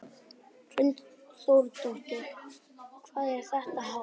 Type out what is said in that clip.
Hrund Þórsdóttir: Hvað er þetta hátt?